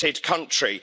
country?